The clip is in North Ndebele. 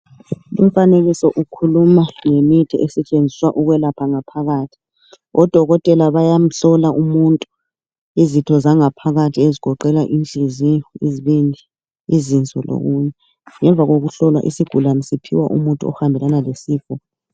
Umfanekiso ukhuluma ngemithi esetshenziswa ukwelapha ngaphakathi .Odokotela bayamhlola umuntu izitho zangaphakathi ezigoqela inhliziyo ,izibindi ,izinso lokunye . Ngemuva kokuhlowa isigulani siphiwa umuthi ohambelana lesifo.